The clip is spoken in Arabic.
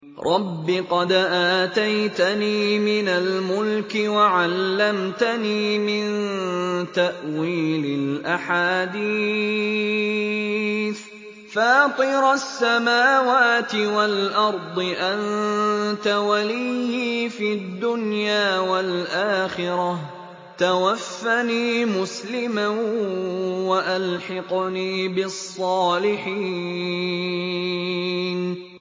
۞ رَبِّ قَدْ آتَيْتَنِي مِنَ الْمُلْكِ وَعَلَّمْتَنِي مِن تَأْوِيلِ الْأَحَادِيثِ ۚ فَاطِرَ السَّمَاوَاتِ وَالْأَرْضِ أَنتَ وَلِيِّي فِي الدُّنْيَا وَالْآخِرَةِ ۖ تَوَفَّنِي مُسْلِمًا وَأَلْحِقْنِي بِالصَّالِحِينَ